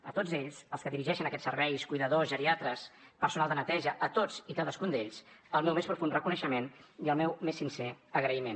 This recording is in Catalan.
a tots ells als que dirigeixen aquests serveis cuidadors geriatres personal de neteja a tots i cadascun d’ells el meu més profund reconeixement i el meu més sincer agraïment